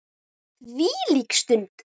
Þvílík stund!